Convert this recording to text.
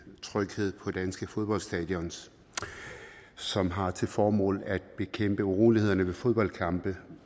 tryghed på danske fodboldstadions som har til formål at bekæmpe urolighederne ved fodboldkampe